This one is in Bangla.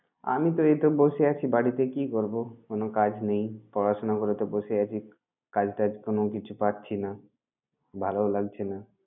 আমি তো এইতো বসে আছি বাড়িতে। কি করবো? কোন কাজ নেই, পড়াশোনা করে তো বসে আছি। কাজ-টাজ কোন কিছু পাচ্ছিনা, ভালো লাগছে না।